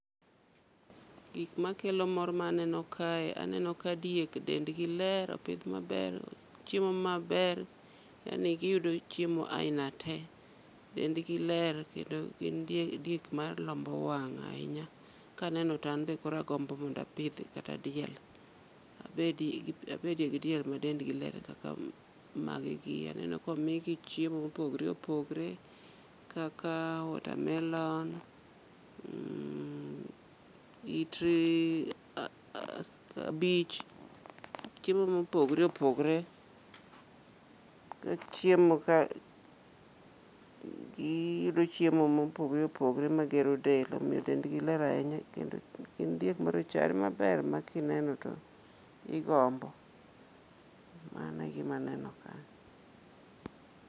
Gik makelo mor ma aneno kae aneno ka diek dendgi ler opidh maber, ochiemo maber. Yani giyudo chiemo aina te. Dendgi ler kendo gin diek malombo wang' ahinya. Kaneno to kata an be koro agombo mondo apidh diel. Abedie gi diel madendgi ler kaka magegi. Omigi chiemo mopogore opogore kaka water melon, it kabich. Chiemo mopogore opogore gichiemo ka giyudo chiemo mopogore opogore ne del omiyo dendgi ler ahinya, gin diek marachare maber makineno to igombo. Mano e gima aneno ka.